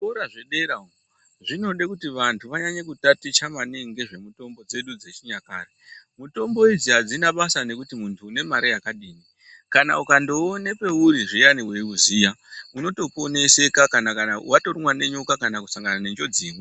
Zvikora zvedera zvinoda kuti vanthu vanyanye kutotaticha maningi ngezvemitombo dzedu dzechinyakare .Mitombo idzi adzina basa nekuti munthu une mare yakadini . Kana ukandiona pauri zviyani weuziya unotoponeseka kana watorumwa ngenyoka kana kusangana neimweniwo njodzi .